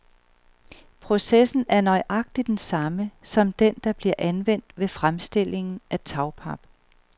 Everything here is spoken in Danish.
Processen er nøjagtig den samme, som den der bliver anvendt ved fremstillingen af tagpap.